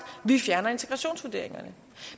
vi fjerner integrationsvurderingerne